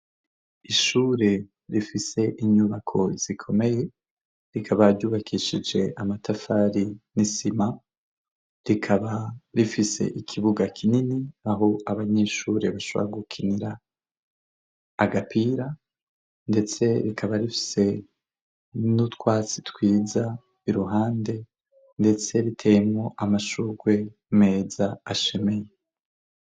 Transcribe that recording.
Ishure rifise inyubako zikomeye, rikaba ryubakishije amatafari n'isima, rikaba rifise ikibuga kinini aho abanyeshure bashobora gukinira agapira ndetse rikaba rifise n'utwatsi twiza i ruhande, ndetse riteyemwo amashurwe meza ashemeye.